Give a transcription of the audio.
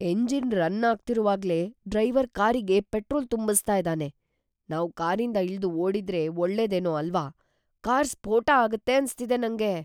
Engine run ಆಗ್ತಿರುವಾಗ್ಲೇ driver ಕಾರಿಗೆ petrol ತುಂಬಿಸ್ತಾ ಇದಾನೆ. ನಾವು ಕಾರಿಂದ ಇಳ್ದು ಓಡಿದ್ರೆ ಒಳ್ಳೇದೇನೋ ಅಲ್ವಾ? ಕಾರ್ ಸ್ಫೋಟ ಆಗತ್ತೆ ಅನ್ಸ್ತಿದೆ ನಂಗೆ.